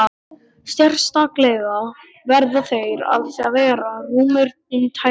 Sérstaklega verða þeir að vera rúmir um tærnar.